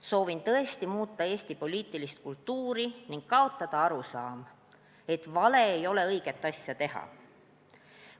Soovin tõesti muuta Eesti poliitilist kultuuri ning kaotada arusaama, et vale mees ei või õiget asja teha.